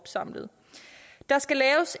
ser meget